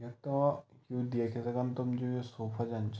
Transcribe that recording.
यक्का यू देख सकदन तुम जु यू सोफा जन च ।